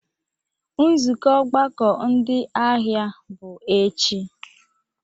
Nzukọ ọgbakọ ndị ahịa bụ echi.